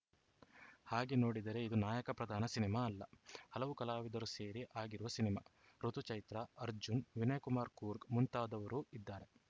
ಹಾಗೆ ನೋಡಿದರೆ ಇದು ನಾಯಕ ಪ್ರಧಾನ ಸಿನಿಮಾ ಅಲ್ಲ ಹಲವು ಕಲಾವಿದರು ಸೇರಿ ಆಗಿರುವ ಸಿನಿಮಾ ಋುತು ಚೈತ್ರಾ ಅರ್ಜುನ್‌ ವಿನಯ್‌ಕುಮಾರ್‌ ಕೂರ್ಗ್‌ ಮುಂತಾದವರು ಇದ್ದಾರೆ